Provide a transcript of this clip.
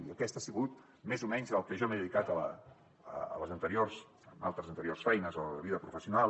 i a això ha sigut més o menys al que jo m’he dedicat en altres anteriors feines de la vida professional